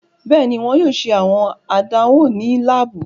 Bẹẹni, wọn yoo ṣe awọn àdánwò ni laabu